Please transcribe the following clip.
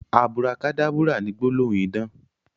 Aburakadábúrà ni gbólóhùn idán